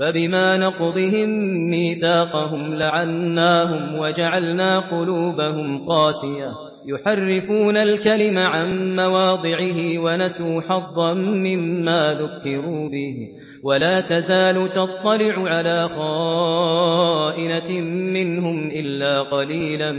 فَبِمَا نَقْضِهِم مِّيثَاقَهُمْ لَعَنَّاهُمْ وَجَعَلْنَا قُلُوبَهُمْ قَاسِيَةً ۖ يُحَرِّفُونَ الْكَلِمَ عَن مَّوَاضِعِهِ ۙ وَنَسُوا حَظًّا مِّمَّا ذُكِّرُوا بِهِ ۚ وَلَا تَزَالُ تَطَّلِعُ عَلَىٰ خَائِنَةٍ مِّنْهُمْ إِلَّا قَلِيلًا